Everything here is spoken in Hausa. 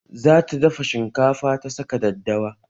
Zata dafa shinkafa ta saka daddawa